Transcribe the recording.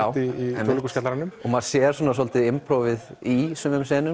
Þjóðleikhúskjallaranum maður sér svolítið í sumum